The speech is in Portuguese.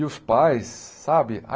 E os pais, sabe?